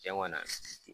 Cɛn kɔni